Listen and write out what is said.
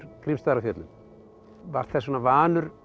Grímsstaðir á Fjöllum var þess vegna vanur